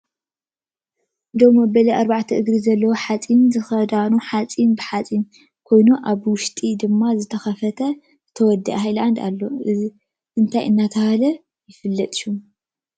ደው መበሊ ኣርባዕተ እግሪ ዘለዎ ሓፂን ዝክዳኑ ሓፂን ብሓፂን ዝኮነ ኣብ ውሽጢ ድማ ዝተከፈተ ዝተወደአ ሃይላንድ ኣሎ። እንታይ እናተባህለ ይፍለጥ ሽሙ?